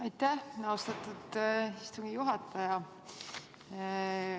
Aitäh, austatud istungi juhataja!